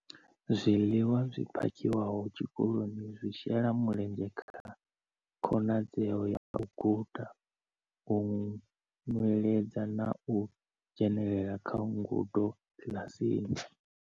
Zwiḽiwa zwi phakhiwaho tshikoloni zwi shela mulenzhe kha khonadzeo ya u guda, u nweledza na u dzhenela kha ngudo kiḽasini.